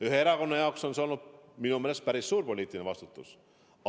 Ühe erakonna jaoks on see minu meelest päris suur poliitiline vastutus.